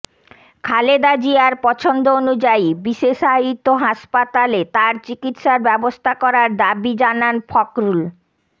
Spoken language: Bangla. খালেদা জিয়ার পছন্দ অনুযায়ী বিশেষায়িত হাসপাতালে তার চিকিৎসার ব্যবস্থা করার দাবি জানান ফখরুল